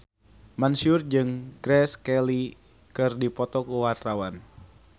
Mansyur S jeung Grace Kelly keur dipoto ku wartawan